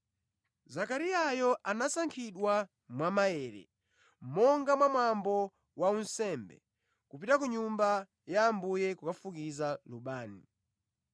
Zakariyayo anasankhidwa mwa maere, monga mwa mwambo wa unsembe, kupita mʼNyumba ya Ambuye kukafukiza lubani.